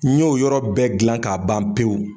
N ɲ'o yɔrɔ bɛ gilan k'a ban pewu